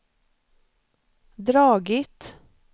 dragit